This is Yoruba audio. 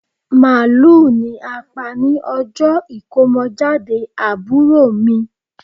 Màálù ni a pa ni ọjọ́ ìkómọjáde àbúrò mi